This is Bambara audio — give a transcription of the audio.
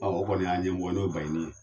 Ɔ o kɔni y'an ɲɛmɔgɔ ye n'o ye Baɲini ye